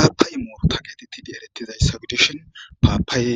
aapay muuru ta geetettidi erettizay sagdishon paapaye